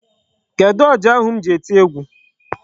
Kedụ ọjà ahu m ji eti egwu?